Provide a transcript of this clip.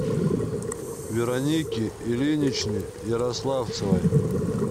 веронике ильиничне ярославцевой